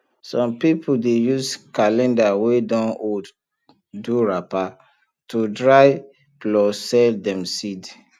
some people dey use calendar wey don old do wrapper to dry plus sell dem seed